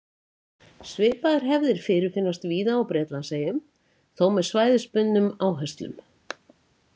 Svipaðar hefðir fyrirfinnast víða á Bretlandseyjum, þó með svæðisbundnum áherslum.